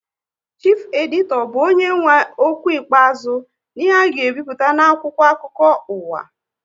Chifu editọ bụ onye nwe okwu ikpeazụ n'ihe a ga ebipụta n'akwụkwọ akụkọ uwa